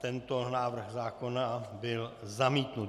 Tento návrh zákona byl zamítnut.